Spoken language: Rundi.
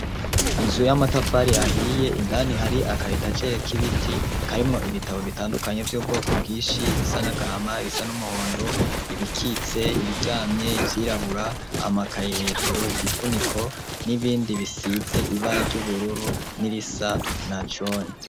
inzu y'amatafari ahiye indani hari aka eta gere k'ibiti karimwo ibitabo bitandukanye vy'ubwoko bwinshi bisa nagahama ibisa n'umuhondo ibikitse ibiryamye ivyirabura amakayi hejuru igifuniko n'ibindi bisize ibara ry'ubururu n'ibisa na jone